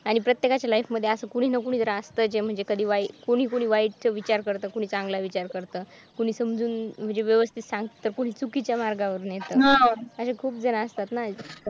आणि प्रत्येकाच्या लाईफ मध्ये असं कोणी ना कोणी असायचे मुलगी वाईट विचार करत कोणी चांगला विचार करत कोणी समजून म्हणजे व्यवस्थित सांगत कोणी चुकीच्या मार्गाने मिळतात भोजपुरी गाना सपना